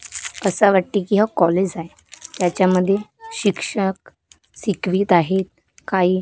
असं वाटतंय की हो कॉलेज आहे त्याच्यामध्ये शिक्षक शिकवीत आहेत काही--